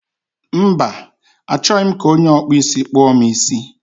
Mba, achọghị m ka onye ọkpụ isi kpụọ m isi